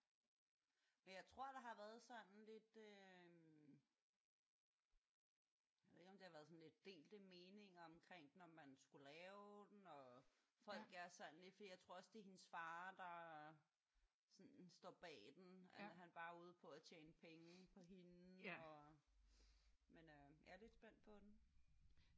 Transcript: Men jeg tror der har været sådan lidt øh jeg ved ikke om det har været sådan lidt delte meninger omkring den om man skulle lave den og folk er sådan lidt for jeg tror også det er hendes far der sådan står bag den. Er han bare ude på at tjene penge på hende og? Men øh jeg er lidt spændt